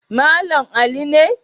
Malam Ali ne.